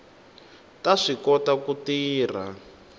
ta swi kota ku tirha